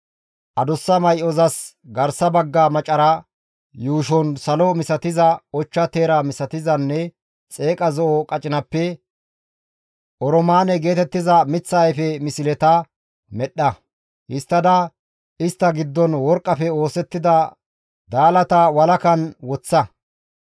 Adussa may7ozas garsa bagga maccaraa yuushon salo misatiza, ochcha teera misatizanne xeeqa zo7o qacinappe, oroomaane geetettiza miththa ayfe misleta medhdha. Histtada istta giddon worqqafe oosettida daalata walakan woththa.